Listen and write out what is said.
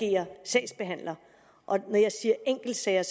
agere sagsbehandler når jeg siger enkeltsager